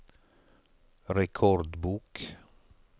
rekordbok